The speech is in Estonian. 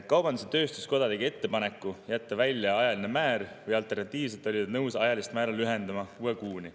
Kaubandus-tööstuskoda tegi ettepaneku jätta välja ajaline määr, alternatiivselt oldi nõus ajalist määra lühendama kuue kuuni.